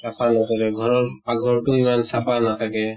চাফা নকৰে, ঘৰৰ পাক ঘৰ টো ইমান চাফা নাথাকে